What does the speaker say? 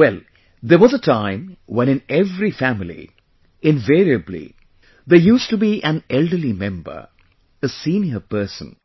Well, there was a time when in every family, invariably, there used to be an elderly member, a senior person